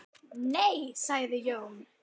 Nei sagði Jón.